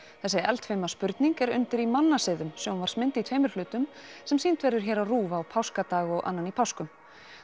þessi eldfima spurning er undir í mannasiðum sjónvarpsmynd í tveimur hlutum sem sýnd verður hér á Rúv páskadag og annan í páskum